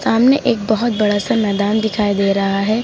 सामने एक बहुत बड़ा सा मैदान दिखाई दे रहा है।